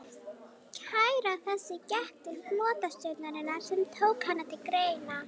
Kæra þessi gekk til flotastjórnarinnar, sem tók hana til greina.